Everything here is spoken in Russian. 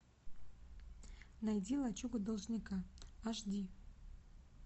найди лачуга должника аш ди